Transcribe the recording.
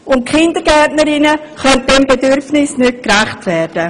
Die Kindergärtnerinnen können diesem Bedürfnis nicht gerecht werden.